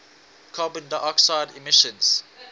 carbon dioxide emissions